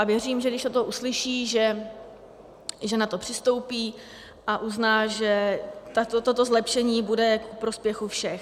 A věřím, že když toto uslyší, že na to přistoupí a uzná, že toto zlepšení bude ku prospěchu všech.